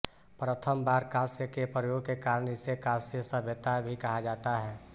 प्रथम बार कांस्य के प्रयोग के कारण इसे कांस्य सभ्यता भी कहा जाता है